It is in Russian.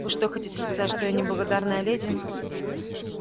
вы что хотите сказать что я не благодарная леди